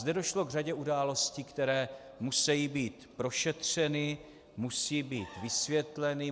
Zde došlo k řadě událostí, které musí být prošetřeny, musí být vysvětleny.